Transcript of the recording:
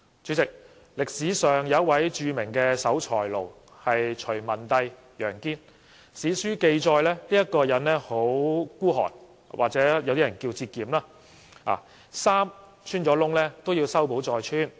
主席，歷史上有一位著名的守財奴隋文帝楊堅，史書記載他很吝嗇，也有些人稱之為節儉，他的衣服穿洞也要修補再穿。